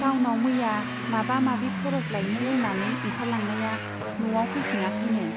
टाउनाव मैया माबा माबि खर'स लायनो होन्नानै ओंखारलांनाया न'आव फैफिनाखैनो।